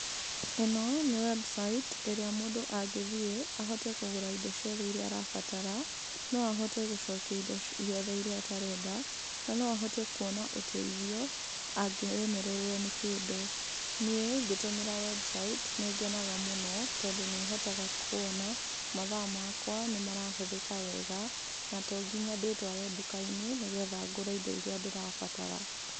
Ĩno nĩ website ĩrĩa mũndũ angĩthiĩ ahote kũgũra indo ciothe iria arabatara, no ahote gũcokia indo ciothe iria atarenda, na no ahote kuona ũteithio angĩremererwo nĩ kĩndũ. Niĩ ngĩtũmĩra website nĩ ngenaga mũno tondũ nĩ hotaga kuona mathaa makwa nĩ marahũthĩka wega, na to nginya ndĩtware nduka-inĩ nĩgetha ngũre indo iria ndĩrabatara.